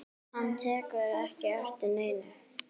Hann tekur ekki eftir neinu.